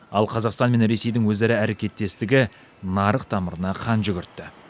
ал қазақстан мен ресейдің өзара әрекеттестігі нарық тамырына қан жүгіртті